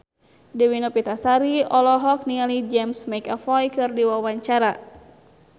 Dewi Novitasari olohok ningali James McAvoy keur diwawancara